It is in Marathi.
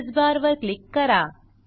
एड्रेस बार वर क्लिक करा